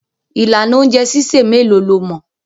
Ìlànà oúnjẹ sísè mélòó lo mọ̀?